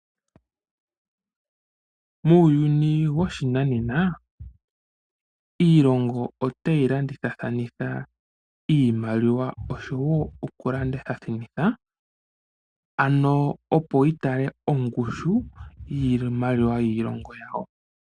Muuyuni woshinanena iilongo otayi landithathanitha iimaliwa, opo yi tale ongushu yiimaliwa yiilongo yawo.